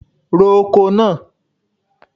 Ro oko náà!